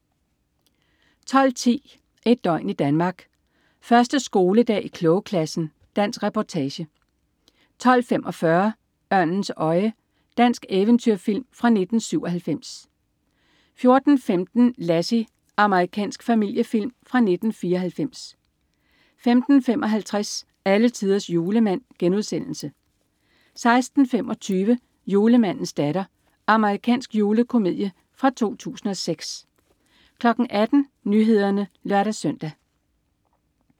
12.10 Et døgn i Danmark. 1. skoledag i klogeklassen. Dansk reportage 12.45 Ørnens øje. Dansk eventyrfilm fra 1997 14.15 Lassie. Amerikansk familiefilm fra 1994 15.55 Alletiders Julemand* 16.25 Julemandens datter. Amerikansk julekomedie fra 2006 18.00 Nyhederne (lør-søn)